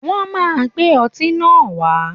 Wọ́n máa gbé ọtí náà wá